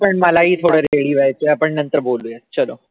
मलाही थोडं ready व्हायचंय आपण नंतर बोलूयात.